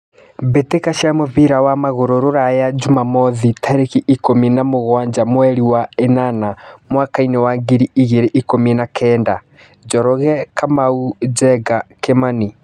Mbĩtĩka cia mũbira wa magũrũ Ruraya Jumamwothi tarĩki ikũmi na mũgwanja mweri wa ĩnana mwakainĩ wa ngiri igĩrĩ na ikũmi na kenda: Njoroge, Kamau, Njenga, Kimani.